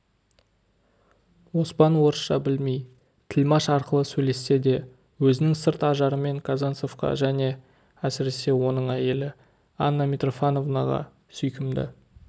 оспан орысша білмей тілмаш арқылы сөйлессе де өзінің сырт ажарымен казанцевқа және әсіресе оның әйелі анна митрофановнаға сүйкімді